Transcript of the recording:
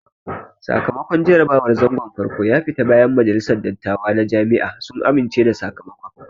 Sakamakon jarabawar zangon farko ya fita bayan majalisan dattawa na Jami'a sun amince da sakamakon